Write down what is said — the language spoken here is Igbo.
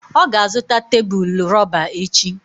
Ọ ga-azụta tebụl rọba echi.